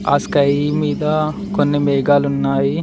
ఆ స్కై మీద కొన్ని మేఘాలు ఉన్నాయి.